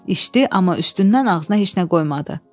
İşdi, amma üstündən ağzına heç nə qoymadı.